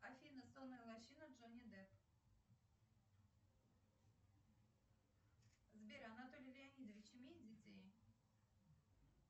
афина сонная лощина джонни депп сбер анатолий леонидович имеет детей